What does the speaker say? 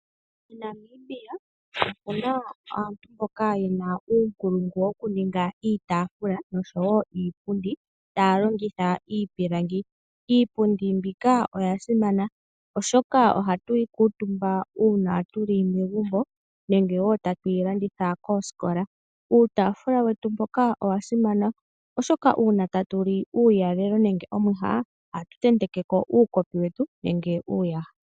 MoNamibia omuna aantu mboka yena uunkulungu wokuninga iitaafula osho wo iipundi taya longitha iipilangi. Iipundi mbika oya simana oshoka ohatu yi kuutumba uuna tuli megumbo, nenge wo tatu yi landitha koosikola. Uutaafula wetu mboka owa simana oshoka uuna tatu li uulalelo nenge omwiha ohatu tentekeko uukopi wetu nenge uuyaha.